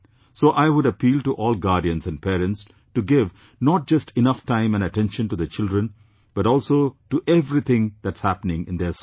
So I would appeal to all guardians and parents to give not just enough time and attention to their children but also to everything that's happenings in their school